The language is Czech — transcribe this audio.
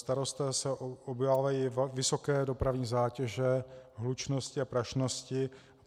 Starostové se obávají vysoké dopravní zátěže, hlučnosti a prašnosti.